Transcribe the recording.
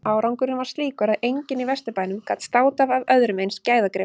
Árangurinn var slíkur að enginn í Vesturbænum gat státað af öðrum eins gæðagrip.